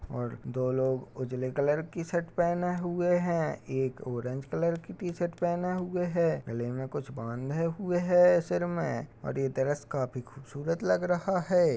और दो लोग उजाले कलर की शर्ट पहने हुए है । एक ऑरेंज कलर की शर्ट पहने हुए हैं । गले मे कुछ बांधे सर पर कुछ हुए हैं। यह ड्रेस काफी खूबसूरत लग रहा है ।